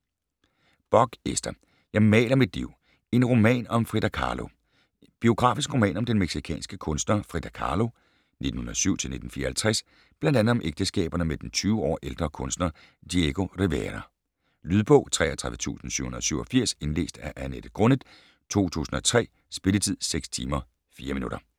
Bock, Ester: Jeg maler mit liv: en roman om Frida Kahlo Biografisk roman om den mexicanske kunstner Frida Kahlo (1907-1954), bl.a. om ægteskaberne med den 20 år ældre kunstner Diego Rivera. Lydbog 33787 Indlæst af Annette Grunnet, 2003. Spilletid: 6 timer, 4 minutter.